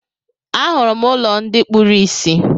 Ahụrụ m ụlọ ndị kpuru ìsì.